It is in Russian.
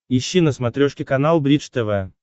ищи на смотрешке канал бридж тв